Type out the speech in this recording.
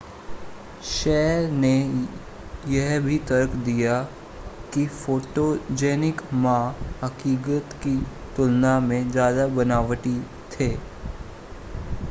शय ने यह भी तर्क दिया कि फ़ोटोजेनिक मा हक़ीक़त की तुलना में ज़्यादा बनावटी थे